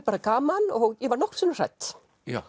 bara gaman og ég var nokkrum sinnum hrædd